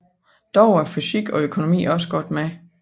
Dog er fysik og økonomi også godt med